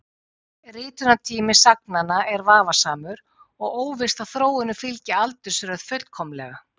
Ritunartími sagnanna er vafasamur og óvíst að þróunin fylgi aldursröð fullkomlega.